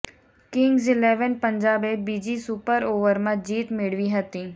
Kings Eleven પંજાબે બીજી super ઓવરમાં જીત મેળવી હતી